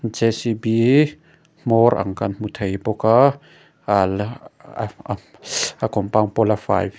jcb hmawr ang kan hmu thei bawk a a compound pawh la fai--